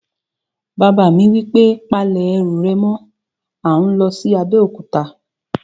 Bàbá mi wí pé, "Pa lẹ̀ ẹrù rẹ̀ mọ́! à ń lọ sí Abéòkúta